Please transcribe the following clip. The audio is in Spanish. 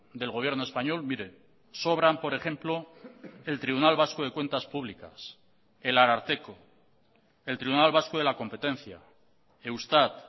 del gobierno español mire sobran por ejemplo el tribunal vasco de cuentas públicas el ararteko el tribunal vasco de la competencia eustat